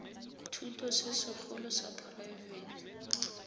thuto se segolo sa poraebete